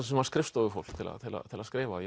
sem var skrifstofufólk til að skrifa